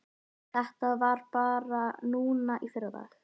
Samkvæmt lagagreininni ákveður ráðherra að fengnum tillögum